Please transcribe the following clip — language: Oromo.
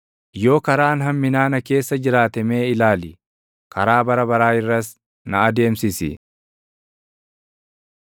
Yoo karaan hamminaa na keessa jiraate mee ilaali; karaa bara baraa irras na adeemsisi.